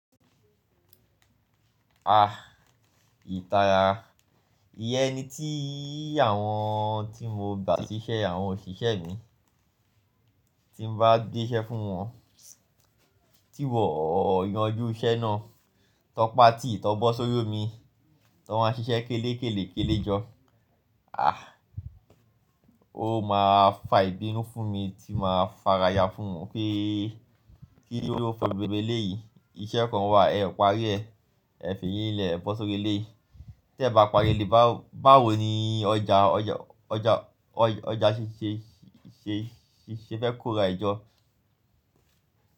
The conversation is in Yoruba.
Ah ìta, ìyẹn ni tí àwọn tí mo gbà síṣẹ́ àwọn òṣìṣẹ́ mi tí n bá gbéṣẹ́ fún wọn, tí wọ́n o yanjú iṣẹ́ náà, tọpa tìí tọ bọ́ sórí omi, tọ ma ṣiṣẹ́ kélekélekéle jọ. O máa fa ìbínú fún mi tí màá fara ya fún wọn pé kí ló fà gbogbo eléyìí, iṣẹ́ kan wà ẹ parí rẹ, ẹ fi yín lẹ̀ ẹ bọ́ sórí eléyìí. Tẹ bá parí eléyi báwo ni ọjà, ọjà ṣe, ṣe, ṣe fẹ́ kó ra ẹ jọ.